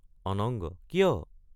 অনঙ্গ—কিয়?